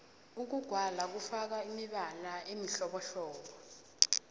ukugwala kufaka imibala emihlobohlobo